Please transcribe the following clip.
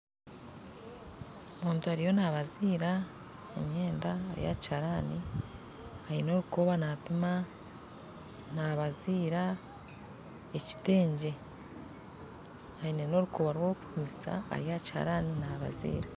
Omuntu ariyo nabaziira emyenda ari aha kihaarani aine orukoba nampima nabaziira ekitengye aine n'orukoba rw'okumpimisa ari aha kihaarani nabaziira